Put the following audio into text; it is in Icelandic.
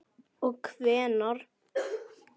Og hvenær?